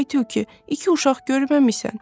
Ay tülkü, iki uşaq görməmisən?